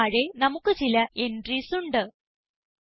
Costന് താഴെ നമുക്ക് ചില എൻട്രീസ് ഉണ്ട്